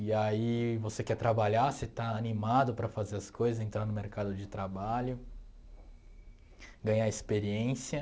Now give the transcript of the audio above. E aí você quer trabalhar, você está animado para fazer as coisa, entrar no mercado de trabalho, ganhar experiência.